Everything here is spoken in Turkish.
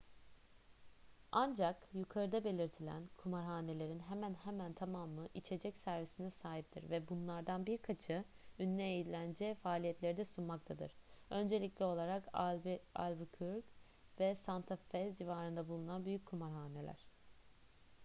ancak yukarıda belirtilen kumarhanelerin hemen hemen tamamı içecek servisine sahiptir ve bunlardan birkaçı ünlü eğlence faaliyetleri de sunmaktadır öncelikli olarak albuquerque ve santa fe civarında bulunan büyük kumarhaneler